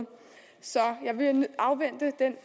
så jeg vil afvente den